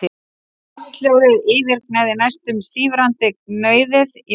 Vatnshljóðið yfirgnæfði næstum sífrandi gnauðið í vindinum.